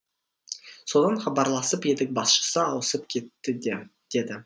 содан хабарласып едік басшысы ауысып кетті деді